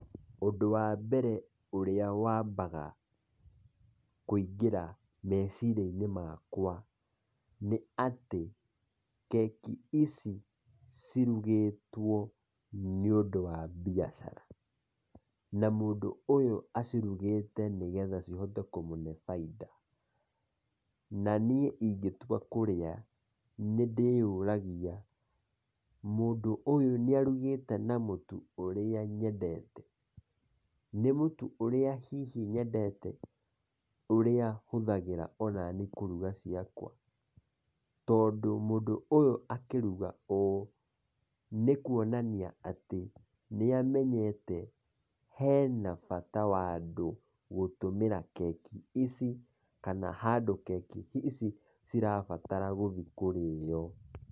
Ũndũ wa mbere ũrĩa wambaga kũingĩra meciria-inĩ makwa, nĩ atĩ keki ici cirugĩtwo nĩ ũndũ wa biacara, na mũndũ ũyũ acirũgĩte nĩgetha cihote kũmũhe baida, na niĩ ingĩtua kũrĩa nĩ ndĩyuragia mũndũ ũyũ nĩ arugĩte na mũtu ũrĩa nyendete? nĩ mũtu ũrĩa hihi nyendete , ũrĩa hũthagĩra ona niĩ kũruga ciakwa , tondũ mũndũ ũyũ akiruga ũũ, nĩkuonania atĩ nĩ amenyete , hena bata wa andũ gũtũmĩra keki ici kana handũ keki ici cirabatara gũthiĩ kũrĩo.